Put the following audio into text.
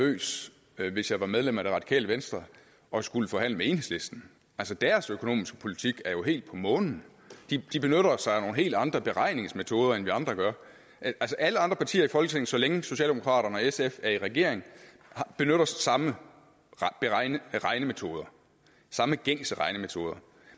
nervøs hvis jeg var medlem af det radikale venstre og skulle forhandle med enhedslisten altså deres økonomiske politik er jo helt på månen de benytter sig af nogle helt andre beregningsmetoder end vi andre gør altså alle andre partier i folketinget så længe socialdemokraterne og sf er i regering benytter samme regnemetoder samme gængse regnemetoder